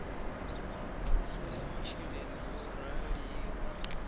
thuso ya masheleni yo raliho